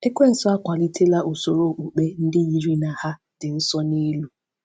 Ekwensu akwalitela usoro okpukpe ndị yiri na ha dị nsọ n’elu.